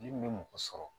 Min bɛ mɔgɔ sɔrɔ